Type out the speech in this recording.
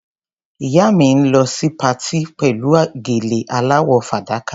Ìyá mi ń lọ sí patí pẹ̀lú gèlè aláwọ̀ fàdákà.